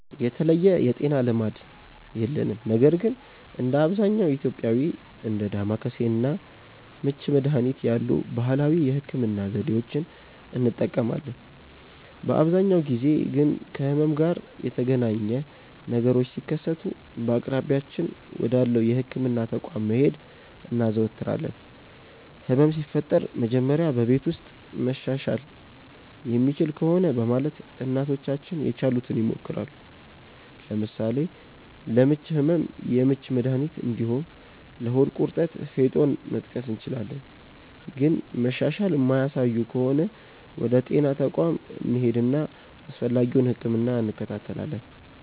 የተለየ የጤና ልማድ የለንም ነገር ግን እንደ አብዛኛው ኢትዮጵያዊ እንደ ዳማከሴ እና ምች መድሀኒት ያሉ ባህላዊ የህክምና ዘዴዎችን እንጠቀማለን። በአብዛኛው ጊዜ ግን ከህመም ጋር የተገናኘ ነገሮች ሲከሰቱ በአቅራቢያችን ወዳለው የህክምና ተቋም መሄድ እናዘወትራለን። ህመም ሲፈጠር መጀመሪያ በቤት ውስጥ መሻሻል የሚችል ከሆነ በማለት እናቶቻችን የቻሉትን ይሞክራሉ። ለምሳሌ ለምች ህመም የምች መድሀኒት እንዲሁም ለሆድ ቁርጠት ፌጦን መጥቀስ እንችላለን። ግን መሻሻል የማያሳዩ ከሆነ ወደ ጤና ተቋም እንሄድና አስፈላጊውን ህክምና እንከታተላለን።